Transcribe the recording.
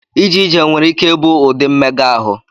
Ije ije nwere ike ịbụ ụdị mmega ahụ.